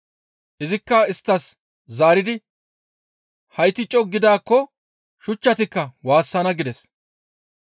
Izikka isttas zaaridi, «Hayti co7u gidaakko shuchchatikka waassana» gides.